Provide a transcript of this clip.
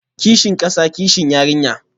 Kishin kasa, kishi yarinya